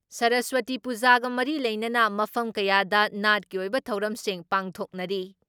ꯁꯔꯁꯋꯇꯤ ꯄꯨꯖꯥꯒ ꯃꯔꯤ ꯂꯩꯅꯅ ꯃꯐꯝ ꯀꯌꯥꯗ ꯅꯥꯠꯀꯤ ꯑꯣꯏꯕ ꯊꯧꯔꯝꯁꯤꯡ ꯄꯥꯡꯊꯣꯛꯅꯔꯤ ꯫